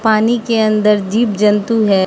पानी के अंदर जीव जंतु है।